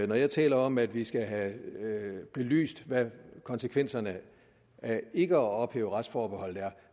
når jeg taler om at vi skal have belyst hvad konsekvenserne af ikke at ophæve retsforbeholdet er